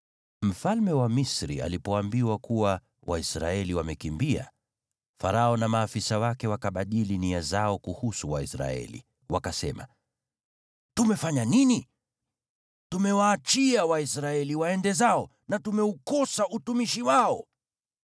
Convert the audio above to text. Mfalme wa Misri alipoambiwa kuwa Waisraeli wamekimbia, Farao na maafisa wake wakabadili nia zao kuhusu Waisraeli, wakasema, “Tumefanya nini? Tumewaachia Waisraeli waende zao na tumeukosa utumishi wao!”